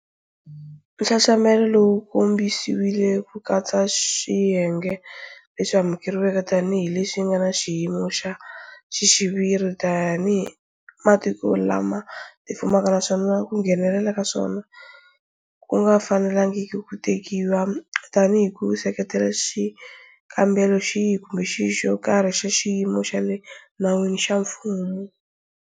Nxaxamelo wu kongomisiwile ku katsa swiyenge leswi amukeriweke tanihi leswi nga na xiyimo"xa xiviri" tanihi matiko lama tifumaka naswona ku nghenelela ka swona ku nga fanelangiki ku tekiwa tanihi ku seketela xikombelo xihi kumbe xihi xo karhi xa xiyimo xa le nawini xa mfumo.